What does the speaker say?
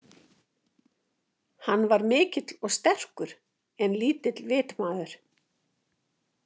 Hann var mikill og sterkur en lítill vitmaður.